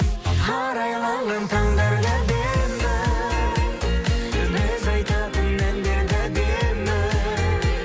арайланған таңдар да әдемі біз айтатын әндер де әдемі